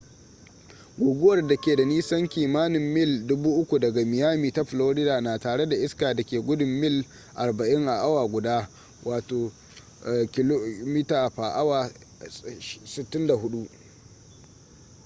guguwar da ke da nisan kimanin mil 3,000 daga miami ta florida na tare da iska da ke gudun mil 40 a awa guda 64 kph